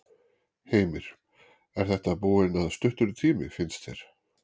Heimir: Er þetta búinn að stuttur tími, finnst þér?